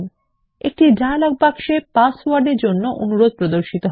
একটি dialog box এ পাসওয়ার্ডের এর জন্য অনুরোধ প্রদর্শিত হবে